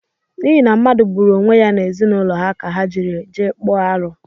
N’ihi na mmadu gburu onwe ya n’ezinaụlọ ha ka ha jiri jee kpọọ aru